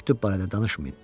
Məktub barədə danışmayın.